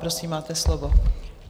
Prosím, máte slovo.